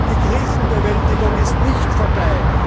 Die Krisenbewältigung ist nicht vorbei.